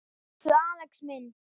Elsku Axel minn.